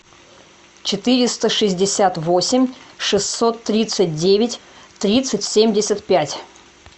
четыреста шестьдесят восемь шестьсот тридцать девять тридцать семьдесят пять